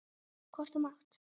Hvort þú mátt.